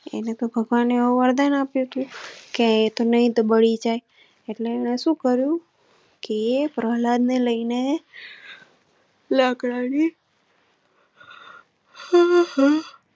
એને તો ભગવાને વરદાન આપ્યું કે તો નહીં તો બળી જાય એને તોહ સુ કર્યુંતું. પ્રહલાદ ને લઈ ને લાકડા ની.